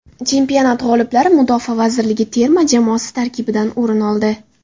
Chempionat g‘oliblari Mudofaa vazirligi terma jamoasi tarkibidan o‘rin oldi.